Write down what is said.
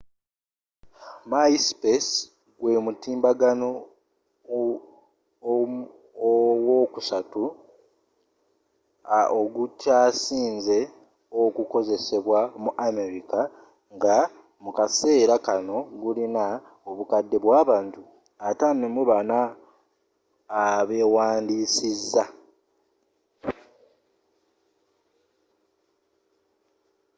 myspace gwe mutimbagano ow'okusatu ogukyasinze okukozesebwa mu amerika nga mukaseera kanno gulina obukadde bwabantu 54 abewandisiiza